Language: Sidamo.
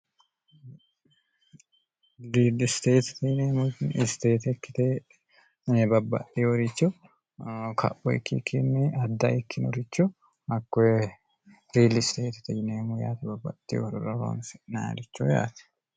diidlisteeti tiyineemutni isteetekkite babbaxi worichu kaphoyikkikkinni adda ikkinorichu hakkoe riilisteeti tiineemmu yaati babbaxxi horuroroonsi nilicho yaati